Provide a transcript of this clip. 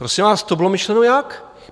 Prosím vás, to bylo myšleno jak?